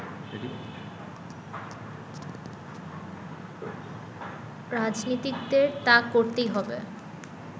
রাজনীতিকদের তা করতেই হবে